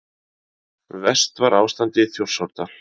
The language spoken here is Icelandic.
Verst var ástandið í Þjórsárdal.